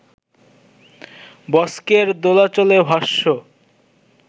বস্কের দোলাচলে ভাষ্য